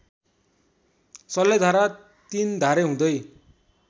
सल्लेधारा तिन्धारे हुँदै